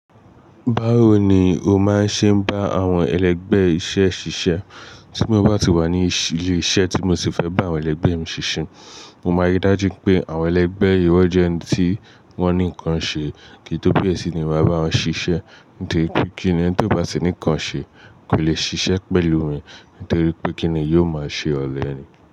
Báwo ni o máa ń ṣe bá àwọn ẹlẹ́gbẹ́ iṣẹ́ rẹ ṣe iṣẹ́? Tí mo bá ti wà ní ilé ṣe tí mo fẹ́ bá àwọn ẹlẹgbẹ́ me sí ṣe. Mo ma rí dájú pé àwọn ẹlẹgbẹ́ yi wọ́n jẹ́ ẹnití wọ́n ǹkan ṣe kín tó here sí ni ma bá wọn sí ṣe. Nítorí pé kí ènìyàn tó bá ti ní nǹkan ṣe kò lè ṣiṣẹ́ pẹ̀lú mi. Nítorí pé kí ni yóò máa ṣe ọ̀lẹ ni?